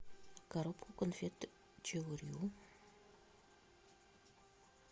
коробку конфет чио рио